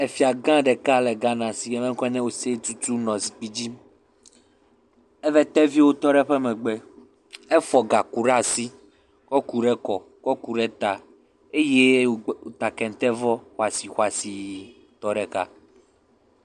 Efiagã ɖeka le Ghana si. Eƒe ŋkɔe nye Osei Tutu nɔ zikpi dzi. Eƒe teviwo tɔ ɖe eƒe megbe. Efɔ gaku ɖe asi, kɔ ku ɖe ekɔ, kɔ ku ɖe eta eye wòta kentevɔ xɔasixɔasiitɔ ɖeka.